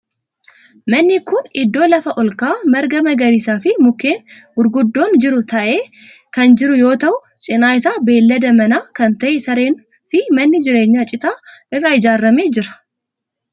Namni kun idddoo lafa olka'aa marga magariisaa fi mukkeen gurguddoon jiru taa'ee kan jiru yoo ta'u cinaa isaa beellada manaa kan ta'e sareen fi manni jireenyaa citaa irraa ijaarame jira.